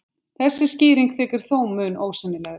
Þessi skýring þykir þó mun ósennilegri.